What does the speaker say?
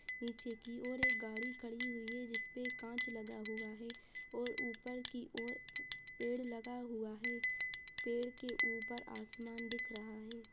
नीचे की ओर एक गाड़ी खड़ी हुई है जिसपे कांच लगा हुआ है और ऊपर की ओर पेड़ लगा हुआ है। पेड़ के ऊपर आसमान दिख रहा है।